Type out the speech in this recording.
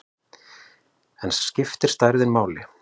En skiptir stærðin máli?